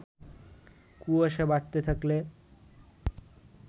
কুয়াশা বাড়তে থাকলে